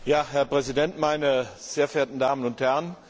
Herr Präsident, meine sehr verehrten Damen und Herren!